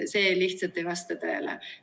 See lihtsalt ei vasta tõele.